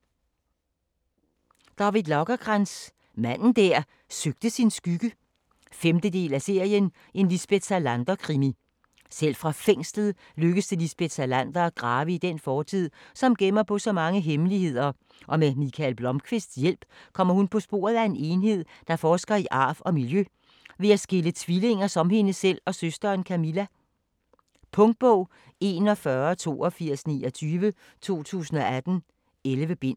Lagercrantz, David: Manden der søgte sin skygge 5. del af serien En Lisbeth Salander krimi. Selv fra fængslet lykkes det Lisbeth Salander at grave i den fortid, som gemmer på så mange hemmeligheder, og med Mikael Blomkvists hjælp kommer hun på sporet af en enhed, der forsker i arv og miljø ved at skille tvillinger som hende selv og søsteren Camilla. Punktbog 418229 2018. 11 bind.